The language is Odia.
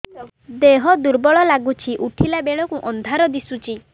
ଦେହ ଦୁର୍ବଳ ଲାଗୁଛି ଉଠିଲା ବେଳକୁ ଅନ୍ଧାର ଦିଶୁଚି